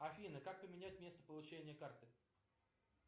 афина как поменять место получения карты